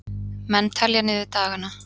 Menn telja niður dagana